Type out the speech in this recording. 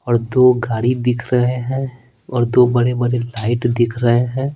और दो गाड़ी दिख रहे हैं और दो बड़े-बड़े लाइट दिख रहे हैं।